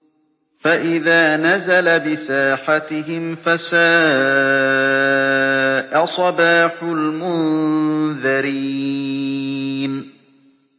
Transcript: فَإِذَا نَزَلَ بِسَاحَتِهِمْ فَسَاءَ صَبَاحُ الْمُنذَرِينَ